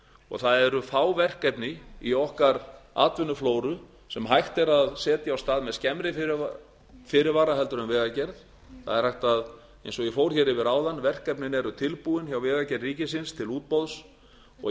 og það eru fá verkefni í okkar atvinnuflóru sem hægt er að setja af stað með skemmri fyrirvara en vegagerð eins og ég fór hér yfir áðan verkefnin eru tilbúin hjá vegagerð ríkisins til útboðs og